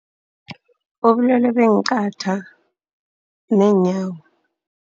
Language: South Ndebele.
Ubulwele beenqatha neenyawo.